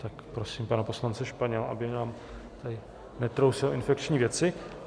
Tak prosím pana poslance Španěla, aby nám tady netrousil infekční věci.